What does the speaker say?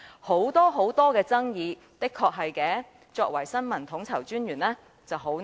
這種種爭議，的確令身為新聞統籌專員者十分為難。